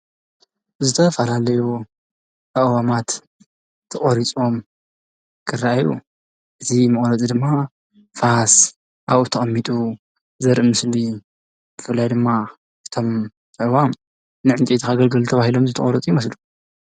ዝተፈላለዩ ኣእዋማት ተቆሪፆም ክረኣዩ፡፡ እዚ መቁረጺ ድማ ፋስ ኣብኡ ተቀሚጡ ዘርኢ ምስሊ እዩ። ብፍላይ ድማ እቶም ኣእዋም ንዕንፀይቲ ከገልግሉ ተባሂሎም ዝተቆረፁ ይመስሉ፡፡